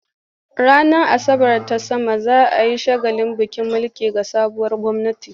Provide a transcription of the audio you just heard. Ranar Asabar ta sama za a yi shagalin miƙa mulki ga sabuwar gwamnati.